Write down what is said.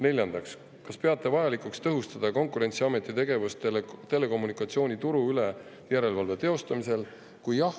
Neljandaks, kas peate vajalikuks tõhustada Konkurentsiameti tegevust telekommunikatsiooni turu üle järelevalve teostamisel?